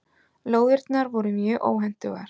Lóðirnar voru mjög óhentugar.